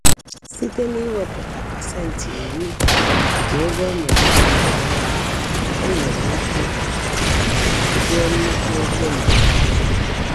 Site n'iwepụta 10% nke ego ọ na-enweta kwa ọnwa, o nwere ike wuo nnukwu ego mberede.